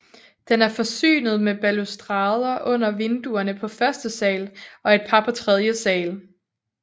Den er forsynet med balustrader under vinduerne på første sal og et par på tredje sal